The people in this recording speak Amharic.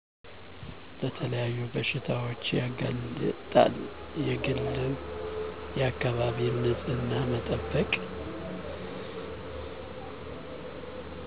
ለተለያዩ በሽታዎች ያጋሌጣልየግልም የአከባቢ ንፅህና መጠበቅ